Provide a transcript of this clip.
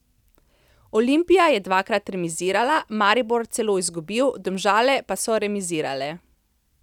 Olimpija je dvakrat remizirala, Maribor celo izgubil, Domžale pa so remizirale.